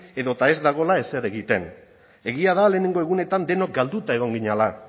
edota ez dagoela ezer egiten egia da lehenengo egunetan denok galduta egon ginela